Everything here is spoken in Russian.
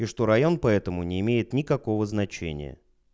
и что район поэтому не имеет никакого значения